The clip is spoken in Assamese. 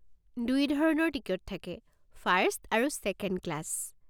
দুই ধৰণৰ টিকট থাকে, ফাৰ্ষ্ট আৰু ছেকেণ্ড ক্লাছ।